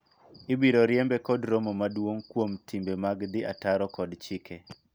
ibiro riembe kod romo maduong' kuom timbe mag dhi ataro kod chike